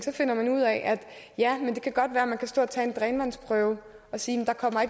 finder man ud af at det kan godt være at man kan stå og tage en drænvandsprøve og sige